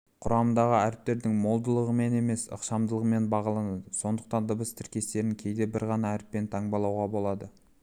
құрамындағы әріптердің молдығымен емес ықшамдығымен бағаланады сондықтан дыбыс тіркестерін кейде бір ғана әріппен таңбалауға болады